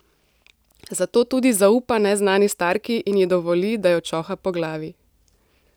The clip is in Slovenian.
Zato tudi zaupa neznani starki in ji dovoli, da jo čoha po glavi.